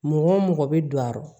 Mɔgɔ wo mɔgɔ bi don a